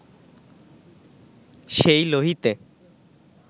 সেই লোহিতে